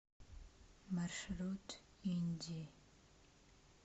маршрут инди